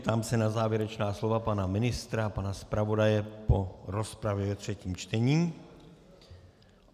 Ptám se na závěrečná slova pana ministra, pana zpravodaje po rozpravě ve třetím čtení.